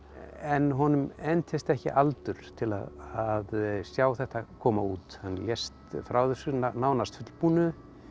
en honum entist ekki aldur til að sjá þetta koma út hann lést frá þessu nánast fullbúnu